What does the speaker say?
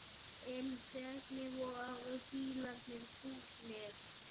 En hvernig voru bílarnir búnir?